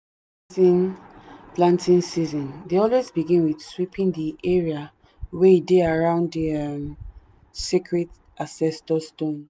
every planting planting season dey always begin with sweeping the area wey dey around the sacred ancestor stone.